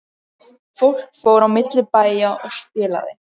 Fólk fór á milli bæja og spilaði.